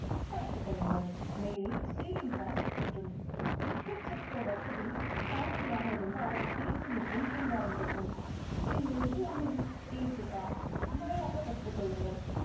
படுத்துக் கொள்ளுங்கள். மேலே ceiling fan சுற்றட்டும். எக்கச்சக்க வசதி party யாக இருந்தால் AC machine ரீங்காரம் இடட்டும் என் ஒன்றில் AC பா. மல்லாக்க படுத்துக் கொள்ளுங்கள்.